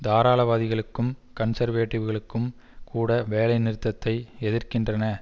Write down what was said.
தாராளவாதிகளுக்கும் கன்சர்வேடிவ்களுக்கும் கூட வேலைநிறுத்தத்தை எதிர்க்கின்றன